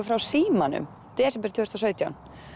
frá Símanum í desember tvö þúsund og sautján